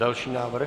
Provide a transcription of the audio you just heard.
Další návrh.